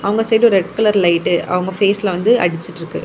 இவங்க side red colour light அவங்க பேஸ்லா வந்து அடிச்சிட்டு இருக்கு.